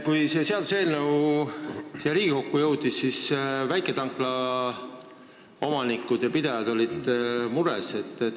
Kui see seaduseelnõu siia Riigikokku jõudis, siis väiketanklate omanikud ja pidajad olid mures.